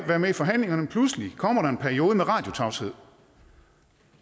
være med i forhandlingerne pludselig kommer der en periode med radiotavshed